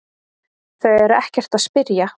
Þau eru ekkert að spyrja